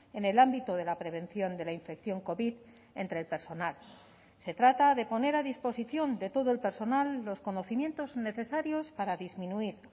en el ámbito de la prevención de la infección covid entre el personal se trata de poner a disposición de todo el personal los conocimientos necesarios para disminuir